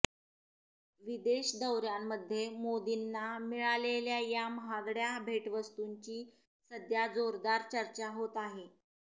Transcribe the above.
विदेश दौऱ्यांमध्ये मोदींना मिळालेल्या या महागड्या भेटवस्तूंची सध्या जोरदार चर्चा होत आहे